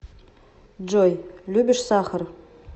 джой любишь сахар